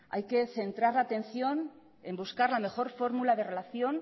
hay que centrar la atención en buscar la mejor fórmula de relación